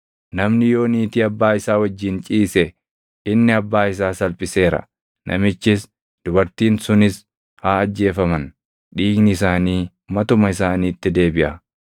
“ ‘Namni yoo niitii abbaa isaa wajjin ciise inni abbaa isaa salphiseera. Namichis, dubartiin sunis haa ajjeefaman; dhiigni isaanii matuma isaaniitti deebiʼa.